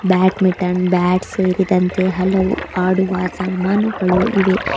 Badminton bat ಸೇರಿದಂತೆ ಹಲವು ಆಡುವ ಸಾಮಾನುಗಳು ಇವೆ.